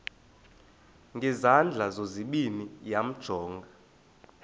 ngezandla zozibini yamjonga